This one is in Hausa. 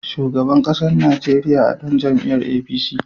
Shugaban ƙasar Najeriya a ɗan jam'iyar APC.